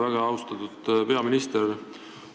Väga austatud peaminister!